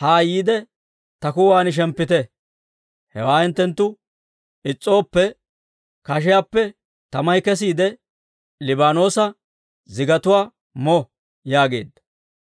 haa yiide ta kuwan shemppite. Hewaa hinttenttu is's'ooppe, kashiiyaappe tamay kesiide, Liibaanoosa zigatuwaa mo› yaageedda.